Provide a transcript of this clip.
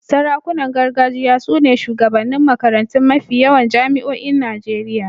Sarakunan gargajiya su ne shugabannin makarantun mafi yawan jami'oin Najeriya.